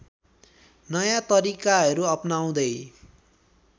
नयाँ तरिकाहरु अपनाउँदै